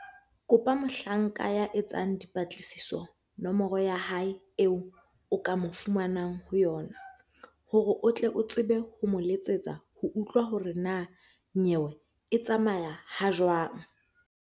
Kopa mohlanka ya etsang dipatlisiso nomoro ya hae eo o ka mo fumanang ho yona, hore o tle o tsebe ho mo letsetsa ho utlwa hore na nyewe e tsamaya ha jwang.